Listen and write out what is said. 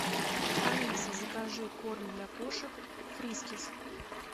алиса закажи корм для кошек фрискис